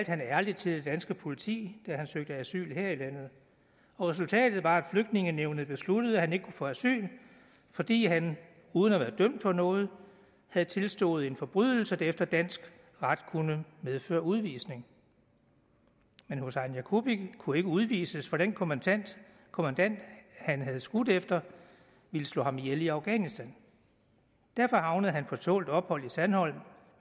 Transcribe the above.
han ærligt til det danske politi da han søgte asyl her i landet resultatet var at flygtningenævnet besluttede at han ikke kunne få asyl fordi han uden at være dømt for noget havde tilstået en forbrydelse der efter dansk ret kunne medføre udvisning men husain yagubi kunne ikke udvises for den kommandant kommandant han havde skudt efter ville slå ham ihjel i afghanistan derfor havnede han på tålt ophold i sandholm